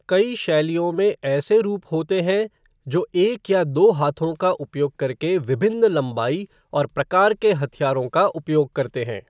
कई शैलियों में ऐसे रूप होते हैं जो एक या दो हाथों का उपयोग करके विभिन्न लंबाई और प्रकार के हथियारों का उपयोग करते हैं।